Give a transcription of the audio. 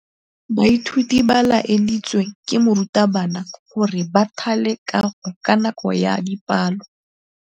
Baithuti ba laeditswe ke morutabana gore ba thale kagô ka nako ya dipalô.